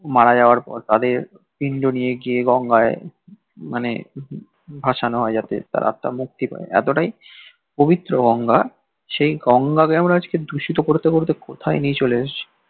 মারা যাবার পর তাদের পিন্ড নিয়ে গিয়ে গঙ্গায় মানে ভাসানো হয় যাতে তার আত্মার মুক্তি হয় এতটাই পবিত্র গঙ্গা সেই গঙ্গাকে আমরা আজকে দূষিত করতে করতে কোথায় নিয়ে চলে এসেছি